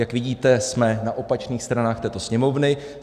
Jak vidíte, jsme na opačných stranách této Sněmovny.